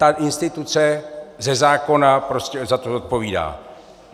Ta instituce ze zákona prostě za to zodpovídá.